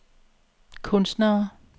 kunstnere